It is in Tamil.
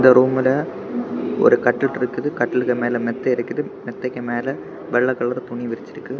இந்த ரூம்ல ஒரு கட்டில் இருக்குது கட்டிலுக்கு மேல மெத்த இருக்குது மெத்தைக்கு மேல வெல்லதா ஒரு துணி விரிச்சிருக்கு.